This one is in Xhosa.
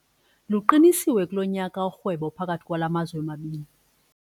Luqinisiwe kulo nyaka urhwebo phakathi kwala mazwe mabini.